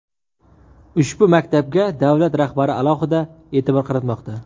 Ushbu maktabga davlat rahbari alohida e’tibor qaratmoqda.